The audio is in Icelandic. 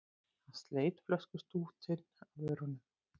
Hann sleit flöskustútinn af vörunum.